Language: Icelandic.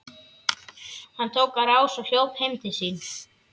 Hann tók á rás og hljóp heim til sín.